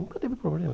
Nunca teve problema.